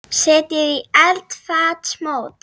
Setjið í eldfast mót.